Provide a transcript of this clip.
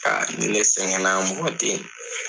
ka ni ne sɛgɛnna mɔgɔ teyi